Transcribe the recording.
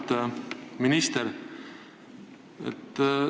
Auväärt minister!